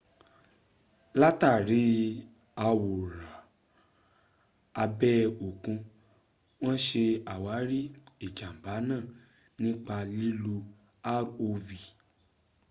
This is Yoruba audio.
látàrí àwòrán abẹ́ òkun wọn ṣe àwárí ìjànbá náà nípa lílo rov